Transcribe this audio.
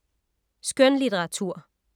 Skønlitteratur